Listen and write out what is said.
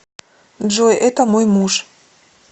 джой это мой муж